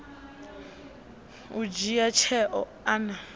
u dzhia tsheo a na